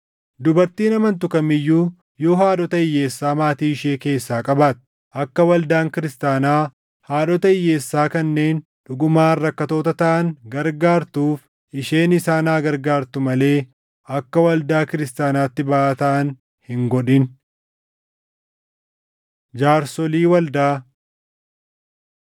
Dubartiin amantu kam iyyuu yoo haadhota hiyyeessaa maatii ishee keessaa qabaatte, akka waldaan kiristaanaa haadhota hiyyeessaa kanneen dhugumaan rakkattoota taʼan gargaartuuf isheen isaan haa gargaartuu malee akka waldaa kiristaanaatti baʼaa taʼan hin godhin. Jaarsolii Waldaa